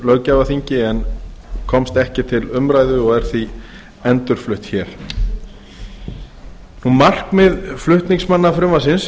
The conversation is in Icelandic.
löggjafarþingi en komst ekki til umræðu og er því endurflutt hér markmið flutningsmanna frumvarpsins